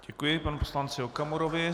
Děkuji panu poslanci Okamurovi.